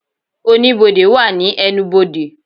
Oníbodè wà ní ẹnubodè